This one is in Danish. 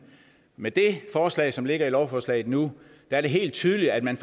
med det forslag som ligger i lovforslaget nu er det helt tydeligt at man